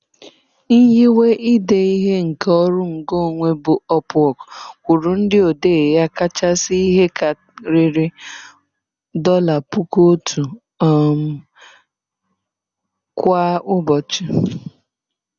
Nyiwe ide ihe nke ọrụ ngo onwe bụ Upwork kwụrụ ndị odee ya kachasị ihe karịrị $1,000 um kwa ụbọchị.